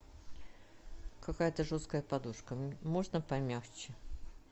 какая то жесткая подушка можно помягче